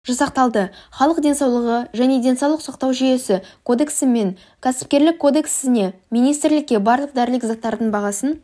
жасақталды халық денсаулығы және денсаулық сақтау жүйесі кодексі мен кәсіпкерлік кодексінеминистрлікке барлық дәрілік заттардың бағасын